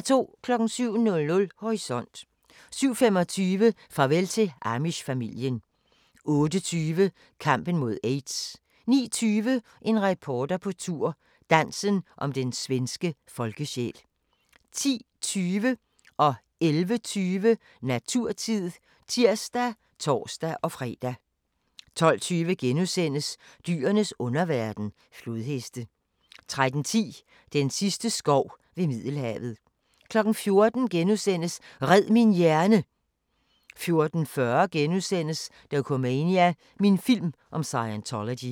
07:00: Horisont 07:25: Farvel til Amish-familien 08:20: Kampen mod aids 09:20: En reporter på tur – Dansen om den svenske folkesjæl 10:20: Naturtid (tir og tor-fre) 11:20: Naturtid (tir og tor-fre) 12:20: Dyrenes underverden – flodheste * 13:10: Den sidste skov ved Middelhavet 14:00: Red min hjerne! * 14:40: Dokumania: Min film om Scientology *